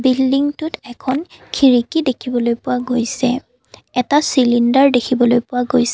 বিল্ডিংটোত এখন খিৰিকী দেখিবলৈ পোৱা গৈছে এটা চিলিণ্ডাৰ দেখিবলৈ পোৱা গৈছ --